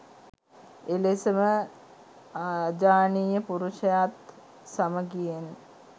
එලෙසම අජානීය පුරුෂයත් සමගියෙන්